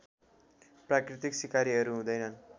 प्राकृतिक सिकारीहरू हुँदैनन्